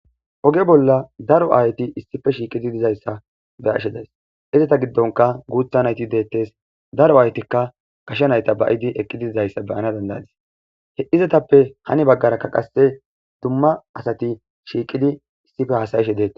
Oge bola daro aayeti issipe shiiqidaysa be'ashe de'aysi izeta gidonka goobay guutha nayti de'etes daro aayotika gashe nayta ba'idi eqidi dizaysa be'anawu danda'ays izetape hani bagaraka kase duma asti issipe shiiqidi haasa'ishe de'etes.